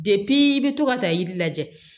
i bi to ka ta iri lajɛ